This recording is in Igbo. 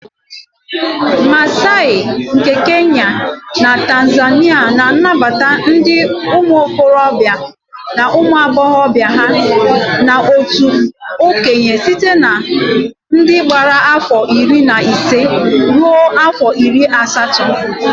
Massai nke Kenya na Tanzania na-anabata ndị ụmụ okorobịa na ụmụ agbọghọbịa ha n'otu okenye site na ndị gbara afọ iri na ise rue afọ iri na asatọ